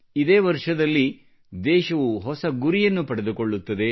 ಇದೇ ವರ್ಷದಲ್ಲಿ ದೇಶವು ಹೊಸ ಗುರಿಯನ್ನು ಪಡೆದುಕೊಳ್ಳುತ್ತದೆ